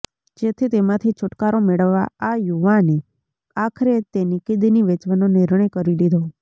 જેથી તેમાંથી છુટકારો મેળવવા આ યુવાને આખરે તેની કિડની વેચવાનો નિર્ણય કરી લીધો